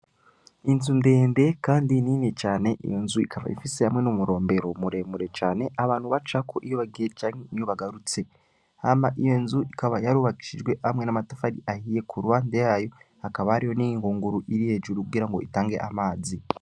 Inzu ndende kandi nini cane n'inzu iyo nzu ikaba ifise hamwe n’umurombero muremure cane abantu bacako iyo bagiye canke iyo bagarutse hanyuma iyo nzu ikaba yarubakishijwe hamwe n’amatafari ahiye ku ruhande yayo hakaba hariho n'ingunguru iri hejuru kugira ngo itange amazi